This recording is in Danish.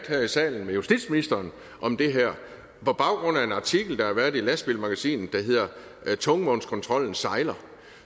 her i salen med justitsministeren om det her på baggrund af en artikel der har været i lastbilmagasinet der hedder tungvognskontrollen sejler